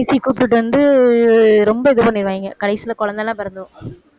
பேசி கூப்பிட்டுட்டு வந்து ரொம்ப இது பண்ணிருவாங்க கடைசியில குழந்தை எல்லாம் பிறந்துரும்